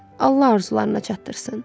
Allah arzularına çatdırsın.